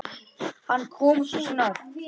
Hann kom svo snöggt.